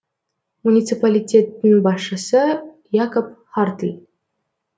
муниципалитеттің басшысы якоб хартль